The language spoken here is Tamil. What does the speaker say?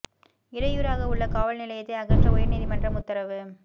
இடையூறாக உள்ள காவல் நிலையத்தை அகற்ற உயர் நீதி மன்றம் உத்தரவு